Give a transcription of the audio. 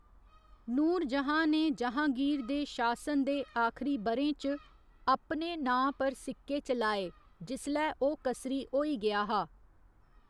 नूरजहाँ ने जहाँगीर दे शासन दे आखरी ब'रें च अपने नांऽ पर सिक्के चलाए जिसलै ओह् कसरी होई गेआ हा।